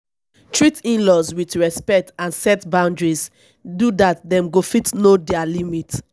treat inlaws with respect and set boundaries do dat dem go fit know their limit